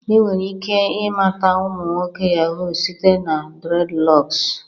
Enwere ike ịmata ụmụ nwoke yahoo site na dreadlocks